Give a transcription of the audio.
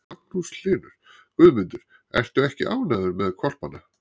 Magnús Hlynur: Guðmundur, ertu ekki ánægður með hvolpana?